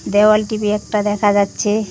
দেওয়াল টি_ভি একটা দেখা যাচ্চে।